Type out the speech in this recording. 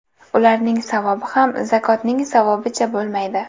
Ularning savobi ham zakotning savobicha bo‘lmaydi.